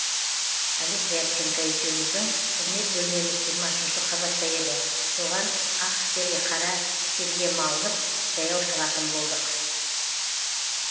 олег рябченко екеуміздің қызмет бөлмеміз жиырма үшінші қабатта еді соған ақ тер қара терге малынып жаяу шығатын болдық